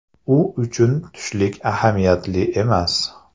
U uchun tushlik ahamiyatli emas.